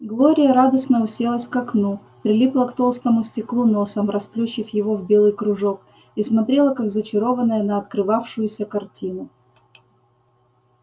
глория радостно уселась к окну прилипла к толстому стеклу носом расплющив его в белый кружок и смотрела как зачарованная на открывавшуюся картину